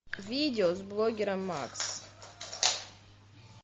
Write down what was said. видео с блогером макс